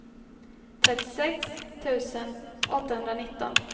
trettiosex tusen åttahundranitton